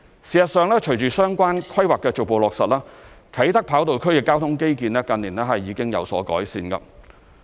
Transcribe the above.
事實上，隨着相關規劃的逐步落實，啟德跑道區的交通基建近年已經有所改善。